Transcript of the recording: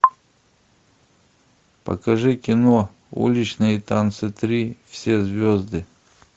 покажи кино уличные танцы три все звезды